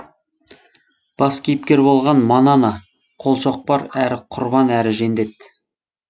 бас кейіпкер болған манана қолшоқпар әрі құрбан әрі жендет